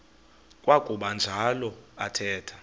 kwakuba njalo athetha